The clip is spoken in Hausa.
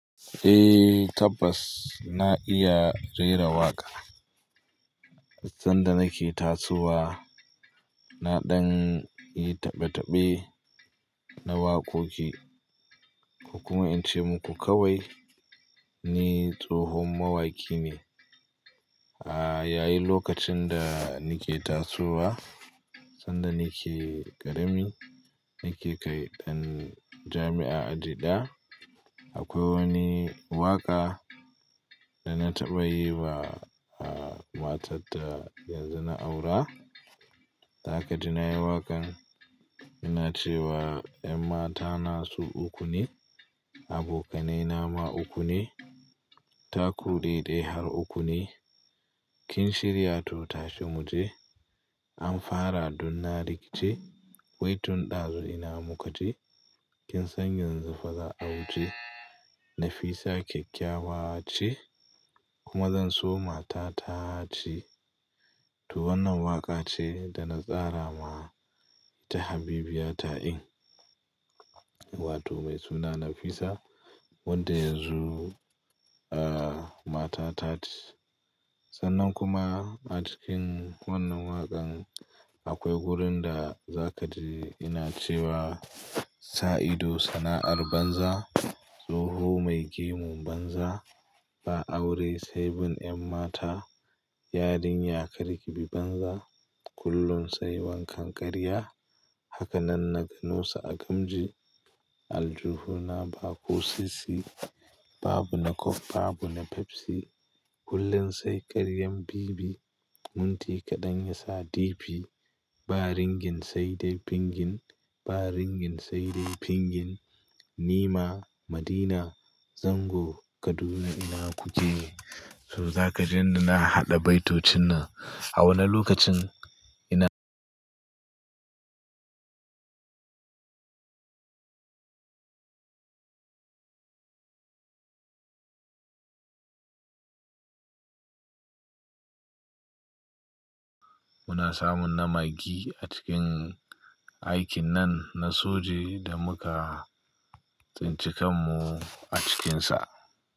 Eh tabbas na iya rera waƙa. Sanda nake tasowa, naɗan yi taɓe-taɓe na wakoki ko kuma in ce muku kawai ni tsohon mawaƙi ne. Ah, yayi lokacin da nake tasowa sanda nake ƙarami, nake kaiɗan jami'a aji ɗaya. Akwai wani waƙa da na taɓa yi wa, ah, matar da yanzu na aura. Zakaji na yi waƙan, ina cewa 'ƴan mata nasu uku ne, abokanai nama uku ne, taku daidai har uku ne. Kin shirya to tashe mu je. Amfara dunna rikice. Waitin ɗazu ina muka je. Kin sanyanzu faza a wuce. Nafisa kyakkyawa ce kuma zan so mata ta ce.' to wannan waƙa ce da na tsara ma ta Habibiyata in, wato mai suna Nafisa wadda yanzu, ah, mata ta ce. Sannan kuma a cikin wannan waƙan akwai wurin da Zakaji ina cewa 'Sa'ido sana'ar banza, tsoho mai gemun banza. Ba aure sai bin ƴan mata, yarinya kar kibi banza. Kullum sai wankan ƙarya, haka nan na ganu su a gamji. Aljuhu na baƙo sisi, babu na coke babu na pepsi. Kullun sai karyan bibi, munti kaɗan ya sa difi. Ba ringin sai dai fingin, ba ringin sai dai fingin. Nima Madina zango Kaduna ina kuje.' to zakajin da na haɗa baitocin na a wannan lokacin ina. Muna samun namagi a cikin aikin nan na soji da muka tsintsikan mu a cikinsa.